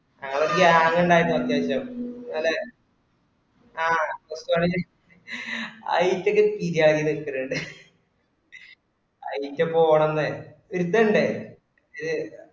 ഞങ്ങള് ഒരു gang ഇണ്ടായിരുന്നു അത്യാവിശ്യം അല്ലെ ആ അയ്റ്റക്ക്‌ പിരാന്തിണ്ടാ അയ്ക്ക് പോണന്ന് ഇരുത്തണ്ടേ ഇത്